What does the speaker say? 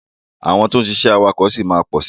Àwọn tí ó ń ṣiṣẹ́ awakọ̀ ṣì máa pọ̀ sí.